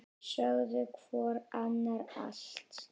Sögðum hvor annarri allt.